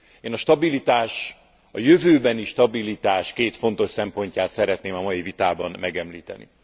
Én a jövőbeni stabilitás két fontos szempontját szeretném a mai vitában megemlíteni.